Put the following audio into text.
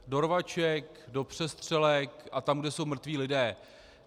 Do rvaček, do přestřelek a tam, kde jsou mrtví lidé.